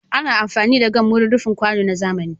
Ana amfani da gam wurin rufin kwano na zamani.